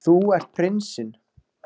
Þú ert prinsinn.